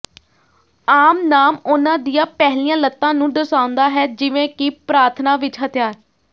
ਆਮ ਨਾਮ ਉਨ੍ਹਾਂ ਦੀਆਂ ਪਹਿਲੀਆਂ ਲੱਤਾਂ ਨੂੰ ਦਰਸਾਉਂਦਾ ਹੈ ਜਿਵੇਂ ਕਿ ਪ੍ਰਾਰਥਨਾ ਵਿਚ ਹਥਿਆਰ